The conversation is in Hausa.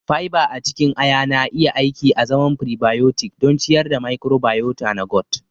Fiber a cikin ayana iya aiki azaman prebiotic don ciyar da microbiota na gut